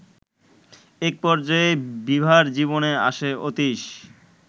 একপর্যায়ে বিভার জীবনে আসে অতীশ